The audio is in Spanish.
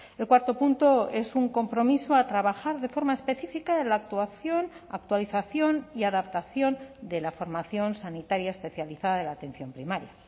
el cuarto punto es un compromiso a trabajar de forma específica en la actuación actualización y adaptación de la formación sanitaria especializada de la atención primaria